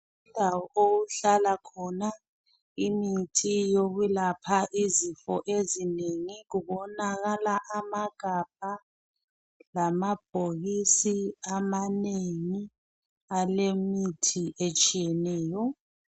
Indawo okuhlala khona imithi yokwelapha izifo ezinengi kubonakala amagabha lamabhokisi amanengi alemithi etshiyeneyo.